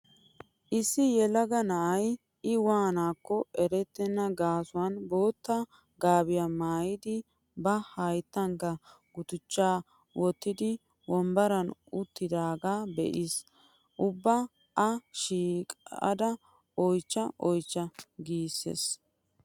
issi yelaga na'ay I waanaakko erettenna gaasuwan bootta gaabiya maayidi ba hayttankka gutichchaa wottidi wombbaran uttidaagaa be'aas. Ubba A shiiqada oychcha oychcha giissiis.